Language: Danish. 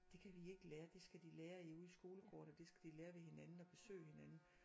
Det kan vi ikke lære det skal de lære i ude i skolegården og det skal de lære ved hinanden og besøge hinanden